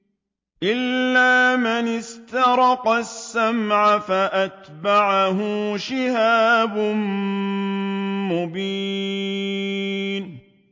إِلَّا مَنِ اسْتَرَقَ السَّمْعَ فَأَتْبَعَهُ شِهَابٌ مُّبِينٌ